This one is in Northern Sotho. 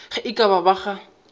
ge e ka ba ga